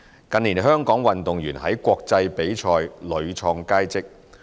近年香港運動員在國際比賽屢創佳績。